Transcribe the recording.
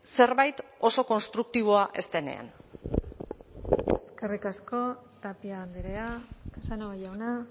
zerbait oso konstruktiboa ez denean eskerrik asko tapia andrea casanova jauna